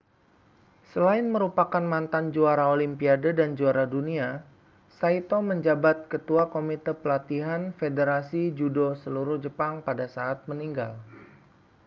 selain merupakan mantan juara olimpiade dan juara dunia saito menjabat ketua komite pelatihan federasi judo seluruh jepang pada saat meninggal